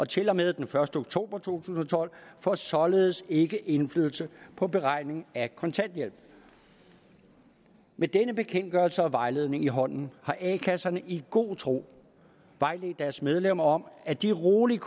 til og med den første oktober to tusind og tolv får således ikke indflydelse på beregningen af kontanthjælp med denne bekendtgørelse og vejledning i hånden har a kasserne i god tro vejledt deres medlemmer om at de roligt